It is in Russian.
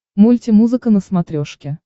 мульти музыка на смотрешке